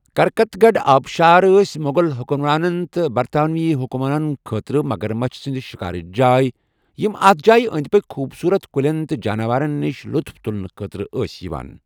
کرکتگڑھ آبشار ٲسۍ مغل حکمرانن تہٕ برطانوی حُکامن خٲطرٕ مگرمچھ سنٛد شکارٕچ جاے یِم اتھ جایہِ انٛدۍ پٔکۍ خوبصورت کُلٮ۪ن تہٕ جاروَرن نِش لُطُف تُلُنہٕ خٲطرٕ ٲسۍ یِوان۔